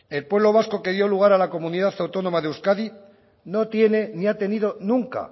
el pueblo vasco quería un lugar a la comunidad autónoma de euskadi no tienen ni ha tenido nunca